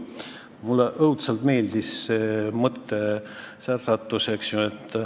Mulle õudselt meeldis see mõttevälgatus.